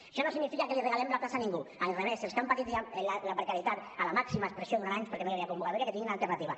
això no significa que regalem la plaça a ningú al revés els que han patit la precarietat en la màxima expressió durant anys perquè no hi havia convocatòria que tinguin una alternativa